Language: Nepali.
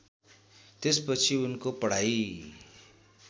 त्यसपछि उनको पढाइ